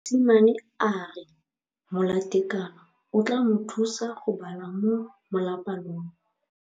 Mosimane a re molatekanyô o tla mo thusa go bala mo molapalong.